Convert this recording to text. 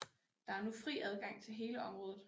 Der er nu fri adgang til hele området